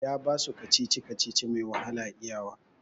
Ya basu kacici-kacici mai wahala iya wa